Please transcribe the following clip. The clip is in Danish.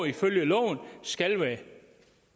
ifølge loven skal være